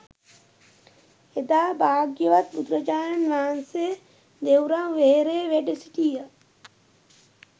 එදා භාග්‍යවත් බුදුරජාණන් වහන්සේ දෙව්රම් වෙහෙරේ වැඩසිටිය